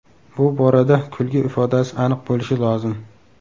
Bu borada kulgi ifodasi aniq bo‘lishi lozim.